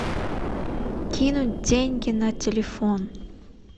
кинуть деньги на телефон